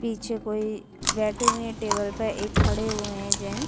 पीछे कोई बैठे हुए है टेबल पे एक खड़े हुए हैं जेंस --